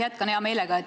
Jätkan hea meelega.